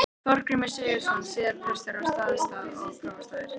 Þorgrímur Sigurðsson, síðar prestur á Staðarstað og prófastur.